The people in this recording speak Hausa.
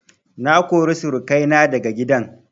Na kori surukai na daga gidan